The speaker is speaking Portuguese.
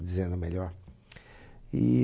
Dizendo melhor.